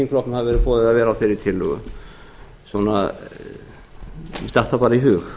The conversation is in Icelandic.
hafi verið boðið að vera á þeirri tillögu mér datt það bara í hug